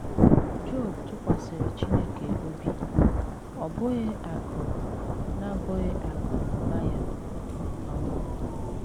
Job tụkwasịrị Chineke obi, ọ bụghị akụ̀ na bụghị akụ̀ na ụba ya um